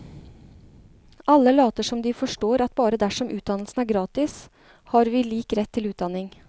Alle later som de forstår at bare dersom utdannelsen er gratis, har vi lik rett til utdanning.